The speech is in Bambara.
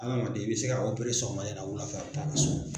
Hadamaden i bɛ se ka opere sɔgɔmada in na wulafɛ a bɛ taa ka so.